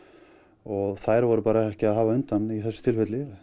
og þær voru bara ekki að hafa undan í þessu tilfelli